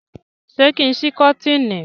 ṣe kín sí koteeni?